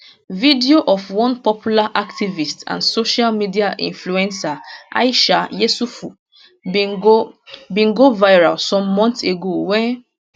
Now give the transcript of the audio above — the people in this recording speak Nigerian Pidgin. video of one popular activist and social media influencer aisha yesufu bin go bin go viral some months ago wen